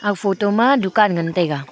aga photo ma dukan ngan tai ga.